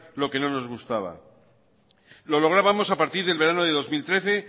lo que no nos gustaba lo lográbamos a partir del verano del dos mil trece